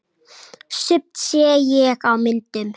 Sumt sé ég á myndum.